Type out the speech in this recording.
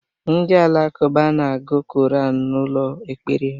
Ndị Alakuba n'agu koranu n'ụlọ ekpere ha